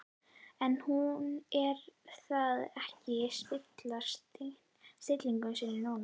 En hún lét það ekki spilla stillingu sinni núna.